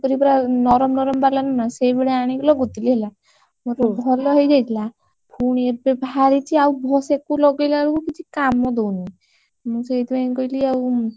ପୁରା ନରମ ନରମ ବାଲା ନୁହେଁ ନା ସେଇଭଳିଆ ଆଣିକି ଲଗଉଥିଲି ହେଲା ମୋର ଭଲ ହେଇଯାଇଥିଲା ଫୁଣି ଏବେ ବାହାରିଛି ଆଉ ସାକୁ ଲଗେଇଲା ବେଳକୁ କିଛି କାମ ଦଉନି ମୁଁ ସେଇଥିପାଇଁ କହିଲି ଆଉ